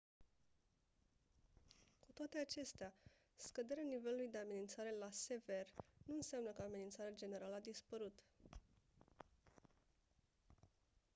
«cu toate acestea scăderea nivelului de amenințare la «sever» nu înseamnă că amenințarea generală a dispărut».